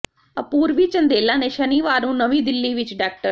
ਅਪੂਰਵੀ ਚੰਦੇਲਾ ਨੇ ਸ਼ਨੀਵਾਰ ਨੂੰ ਨਵੀਂ ਦਿੱਲੀ ਵਿੱਚ ਡਾ